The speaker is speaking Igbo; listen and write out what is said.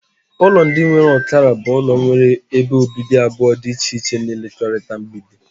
Ụlọ ndị nwere ọkara bụ ụlọ nwere ebe obibi abụọ dị iche iche na-ekekọrịta mgbidi.